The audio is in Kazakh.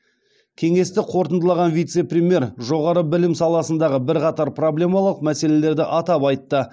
кеңесті қорытындылаған вице премьер жоғары білім саласындағы бірқатар проблемалық мәселелерді атап айтты